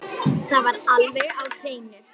Það var alveg á hreinu!